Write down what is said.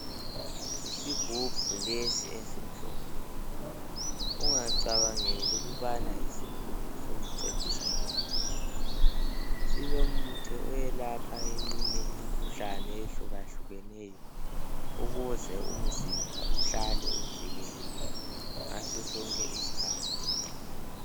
Isigubhu lesi esimhlophe, ungacabangeli ukubana yisigubhu sokucecisa nje kuphela. Silomuthi iyelapha eminye imikhuhlane eyehlukahlukeneyo . Ukuze umzimba uhlale uvikelekile ngaso sonke isikhathi.